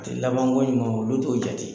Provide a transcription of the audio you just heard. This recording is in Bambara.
A tɛ labankoɲuman olu t'o jate.